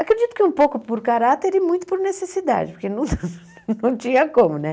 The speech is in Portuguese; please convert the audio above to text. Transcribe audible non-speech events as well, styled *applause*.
Acredito que um pouco por caráter e muito por necessidade, porque *laughs* não tinha como, né?